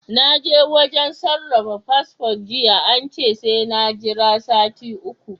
Na je wajen sarrafa fasfo jiya ance sai na Jira sati uku